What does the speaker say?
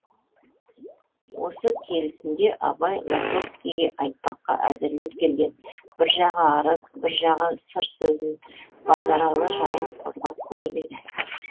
осы келісінде абай лосовскийге айтпаққа әзірлеп келген бір жағы арыз бір жағы сыр сөзін базаралы жайын қозғап көріп еді